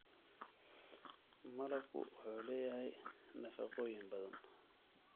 Malabku waxa uu leeyahay nafaqooyin badan.